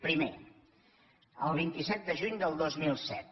primer el vint set de juny del dos mil set